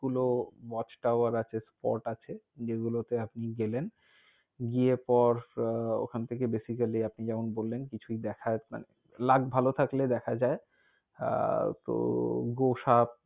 গুলো watchtower আছে। spot আছে। যেগুলো তে আপনি গেলেন। গিয়ে পর ওখান থেকে basically আপনি যেমন বললেন, কিছুই দেখা~ মানে luck ভালও থাকলে দেখা যায়। আহ তো গোসাপ,